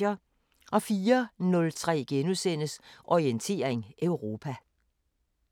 04:03: Orientering Europa *